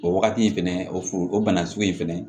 O wagati in fɛnɛ o f o o bana sugu in fɛnɛ